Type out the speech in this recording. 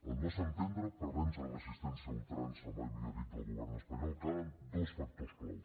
al nostre entendre per vèncer la resistència a ultrança mai millor dit del govern espanyol calen dos factors clau